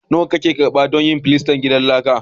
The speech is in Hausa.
Nawa ne kake karɓa don yin filastan gidan laka?